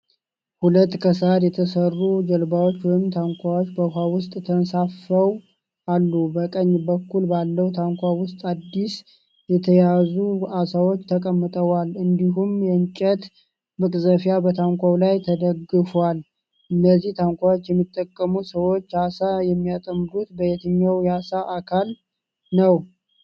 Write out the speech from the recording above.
ሁለት ከሳር የተሠሩ ጀልባዎች ወይም ታንኳዎች በውኃ ውስጥ ተንሳፍፈው አሉ። በቀኝ በኩል ባለው ታንኳ ውስጥ አዲስ የተያዙ ዓሦች ተቀምጠዋል፣ እንዲሁም የእንጨት መቅዘፊያ በታንኳው ላይ ተደግፎአል። እነዚህን ታንኳዎች የሚጠቀሙ ሰዎች ዓሣ የሚያጠምዱት በየትኛው የውኃ አካል ነው?